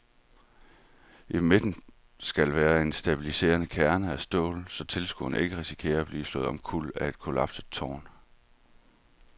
I midten skal være en stabiliserende kerne af stål, så tilskuere ikke risikerer at blive slået omkuld af et kollapset tårn.